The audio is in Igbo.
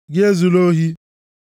Gị ezula ohi.